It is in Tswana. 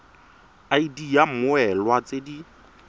id ya mmoelwa tse di